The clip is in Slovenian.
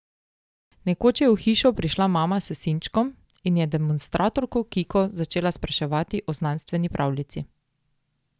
Nekoč je v Hišo prišla mama s sinčkom in demonstratorko Kiko začela spraševati o znanstveni pravljici.